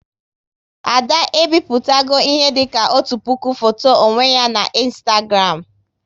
Ada e bipụtago ihe dịka otu puku foto onwe ya na Ịnstagram